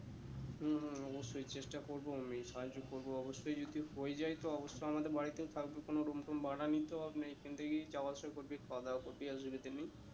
হম অবশ্যই চেষ্টা করবো আমি সাহায্য করবো অবশ্যই যদি হয়ে যায় তো অবশ্য আমাদের বাড়িতেও থাকবি কোনো room ফুম ভাড়া নিতে হবে না এখান থেকেই যাওয়া আশা করবি খাওয়া দাওয়া করবি অসুবিধে নেই।